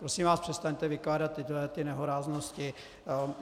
Prosím vás, přestaňte vykládat tyto nehoráznosti.